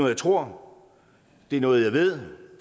jeg tror det er noget jeg ved